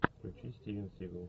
включи стивен сигал